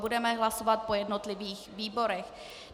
Budeme hlasovat po jednotlivých výborech.